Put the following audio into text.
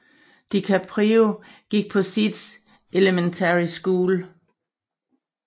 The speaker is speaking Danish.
DiCaprio gik på Seeds Elementary School